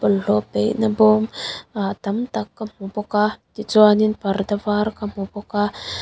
bawlhhlawh paih na bawm ah tam tak ka hmu bawk a ah parda var ka hmu bawk a.